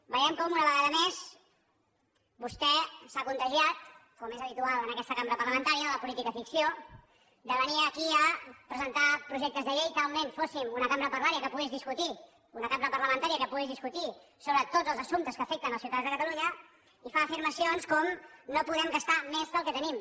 veiem com una vegada més vostè s’ha contagiat com és habitual en aquesta cambra parlamentària de la política ficció de venir aquí a presentar projectes de llei talment com si fóssim una cambra parlamentària que pogués discutir sobre tots els assumptes que afecten els ciutadans de catalunya i fa afirmacions com no podem gastar més del que tenim